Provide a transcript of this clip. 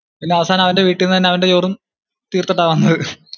പിന്നെ അവസാനം അവന്റെ വീട്ടീന്ന് തന്നെ അവന്റെ ചോറും തീർത്തിട്ടാ വന്നത്